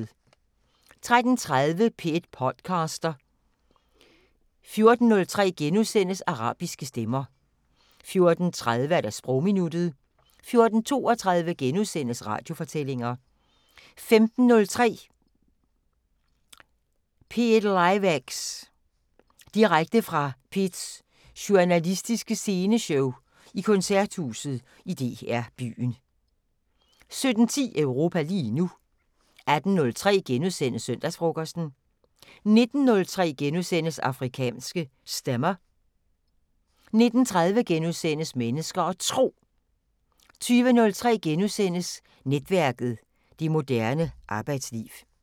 13:30: P1 podcaster 14:03: Arabiske stemmer * 14:30: Sprogminuttet 14:32: Radiofortællinger * 15:03: P1liveX- direkte fra P1's journalistiske sceneshow i Koncerthuset i DR Byen 17:10: Europa lige nu 18:03: Søndagsfrokosten * 19:03: Afrikanske Stemmer * 19:30: Mennesker og Tro * 20:03: Netværket: Det moderne arbejdsliv *